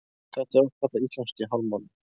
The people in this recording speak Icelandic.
Þetta er oft kallað íslamski hálfmáninn.